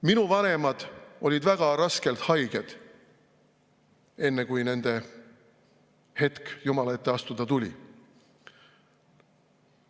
Minu vanemad olid väga raskelt haiged, enne kui nende hetk Jumala ette astuda tuli.